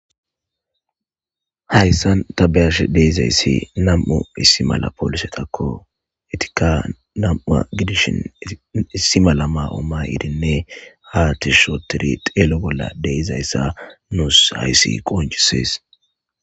hayssan ta ba7ash deizayssi nam7u issi mala polisetakko etika nam7u gidishin issi mala ma7ooma iidinne ha tishotiri teelo bolla deizayssa nuus hayssi qoncisees.